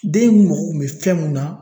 Den munnu mako kun bɛ fɛn mun na